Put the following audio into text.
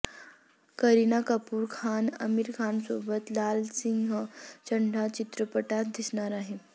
करीना कपूर खान आमिर खानसोबत लाल सिंग चड्ढा चित्रपटात दिसणार आहे